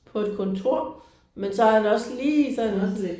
På et kontor men så har han også lige sådan